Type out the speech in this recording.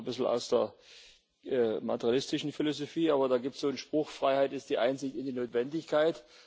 Das stammt zwar ein bisschen aus der materialistischen Philosophie, aber da gibt es so einen Spruch Freiheit ist die Einsicht in die Notwendigkeit.